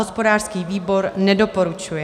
Hospodářský výbor nedoporučuje.